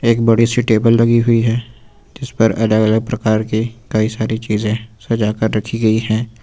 एक बड़ी सी टेबल लगी हुई है जिस पर अलग अलग प्रकार के कई सारी चीजें सजा कर रखी गई है।